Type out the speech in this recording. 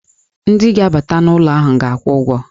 Ndị ga-abata n'ụlọ ahụ ga-akwụ ụgwọ.